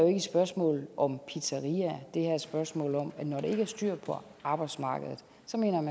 et spørgsmål om pizzeriaer det her er et spørgsmål om at når der ikke er styr på arbejdsmarkedet